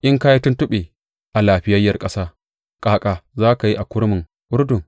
In ka yi tuntuɓe a lafiyayyiyar ƙasa, ƙaƙa za ka yi a kurmin Urdun?